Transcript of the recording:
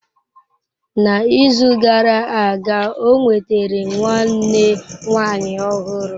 N'izu gara aga ọ nwetara nwanne nwanyị ọhụrụ.